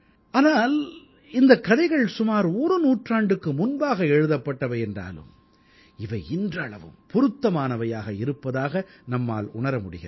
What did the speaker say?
ஆனால் இந்தக் கதைகள் சுமார் ஒரு நூற்றாண்டுக்கு முன்பாக எழுதப்பட்டவை என்றாலும் இவை இன்றளவும் பொருத்தமானவையாக இருப்பதாக நம்மால் உணர முடிகிறது